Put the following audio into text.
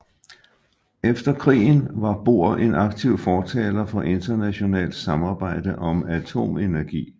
Efter krigen var Bohr en aktiv fortaler for internationalt samarbejde om atomenergi